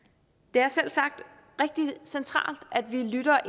det er selvsagt rigtig centralt at vi lytter